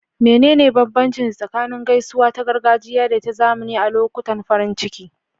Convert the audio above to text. Menene bambanci tsakanin gaisuwa ta gargajiya da ta zamani a lokutan farin ciki?